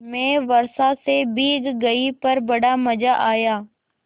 मैं वर्षा से भीग गई पर बड़ा मज़ा आया